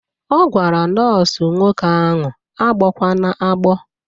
Ọ gwara nọọsụ nwoke ahụ agbọkwana agbọ!